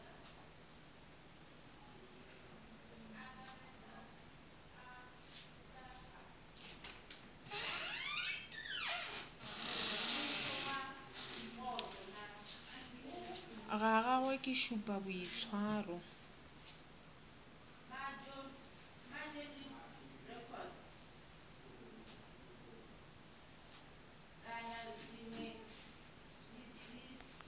ga gagwe ke šupa boitshwaro